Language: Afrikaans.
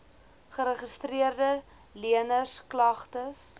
geregistreede leners klagtes